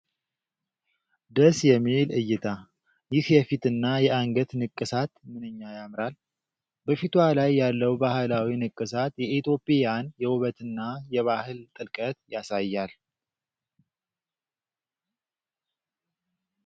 ደስ የሚል እይታ! ይህ የፊትና የአንገት ንቅሳት ምንኛ ያምራል! በፊቷ ላይ ያለው ባህላዊ ንቅሳት የኢትዮጵያን የውበትና የባህል ጥልቀት ያሳያል !